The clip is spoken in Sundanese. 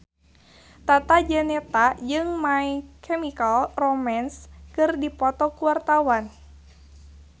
Tata Janeta jeung My Chemical Romance keur dipoto ku wartawan